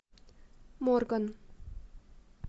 морган